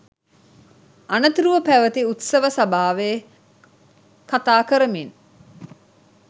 අනතුරුව පැවැති උත්සව සභාවේ කතාකරමින්